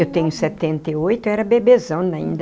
Eu tenho setenta e oito, eu era bebezona ainda.